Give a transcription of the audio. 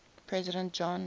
president john